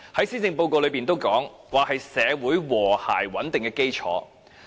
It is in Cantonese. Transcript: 施政報告也指出，房屋是社會和諧穩定的基礎。